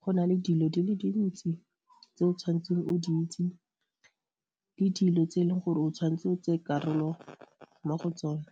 go na le dilo di le dintsi tse o tshwanetseng o di itse le dilo tse e leng gore o tshwanetse karolo mo go tsone.